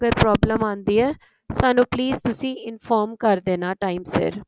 problem ਆਉਂਦੀ ਹੈ ਸਾਨੂੰ please ਤੁਸੀਂ inform ਕਰ ਦੇਣਾ time ਸਿਰ